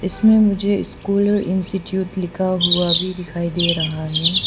इसमें मुझे स्कॉलर और इंस्टिट्यूट लिखा हुआ भी दिखाई दे रहा है।